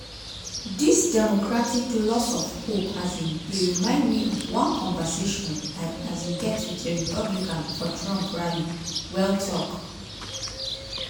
"dis democratic lose of hope um dey remind me of one conversation i um get wit a republican for trump rally" well tok.